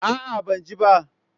A'a, ban ji ba.